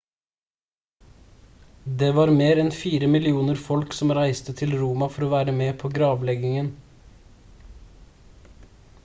det var mer enn fire millioner folk som reiste til roma for å være med på gravleggingen